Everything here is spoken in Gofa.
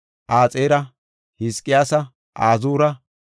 Axeera, Hizqiyaasa, Azuura,